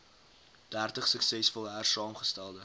dertig suksesvol hersaamgestelde